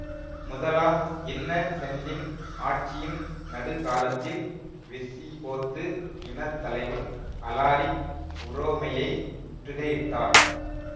முதலாம் இன்னசெண்டின் ஆட்சியின் நடுக்காலத்தில் விசிகோத்து இன தலைவன் அலாரிக் உரோமையை முற்றுகையிட்டார்